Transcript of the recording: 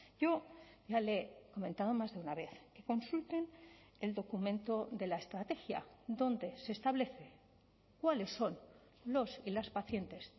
yo ya le he comentado más de una vez consulten el documento de la estrategia donde se establece cuáles son los y las pacientes